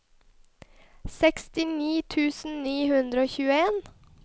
sekstini tusen ni hundre og tjueen